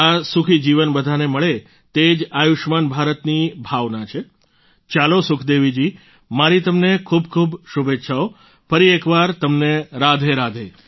આ સુખી જીવન બધાને મળે તે જ આયુષ્યમાન ભારતની ભાવના છે ચાલો સુખદેવીજી મારી તમને ખૂબખૂબ શુભેચ્છાઓ ફરી એકવાર તમને રાધેરાધે